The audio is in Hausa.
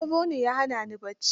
Sauro ne ya hana ni bacci.